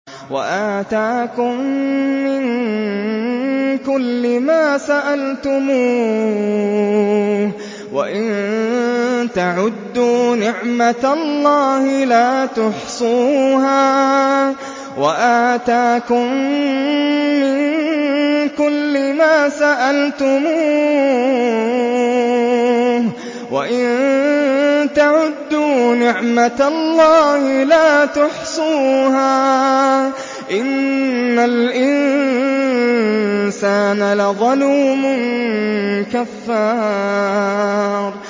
وَآتَاكُم مِّن كُلِّ مَا سَأَلْتُمُوهُ ۚ وَإِن تَعُدُّوا نِعْمَتَ اللَّهِ لَا تُحْصُوهَا ۗ إِنَّ الْإِنسَانَ لَظَلُومٌ كَفَّارٌ